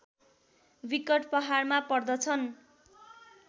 विकट पहाडमा पर्दछन्